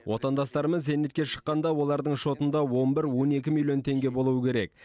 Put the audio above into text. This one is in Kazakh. отандастарымыз зейнетке шыққанда олардың шотында он бір он екі миллион теңге болуы керек